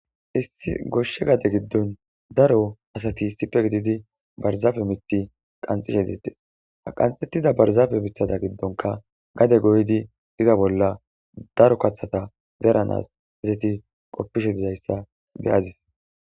Issi goshshe gade giddon daro asati issippe gididi barzaafe mixi qanxishe deettes aqanxettida barzaafe mithaza giddonka gade goydi iza bolla daro kathata zeranas hizeti qoppishe dizayssa beyadis